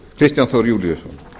kristján þór júlíusson